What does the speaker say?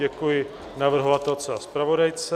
Děkuji navrhovatelce a zpravodajce